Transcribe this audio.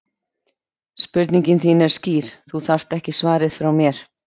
Spurningin þín er skýr, þú þarft ekki svarið frá mér.